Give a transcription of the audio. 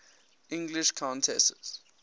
english countesses